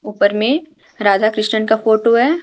उपर में राधा कृष्ण का फोटो है।